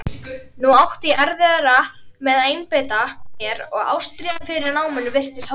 Nú átti ég erfiðara með að einbeita mér og ástríðan fyrir náminu virtist horfin.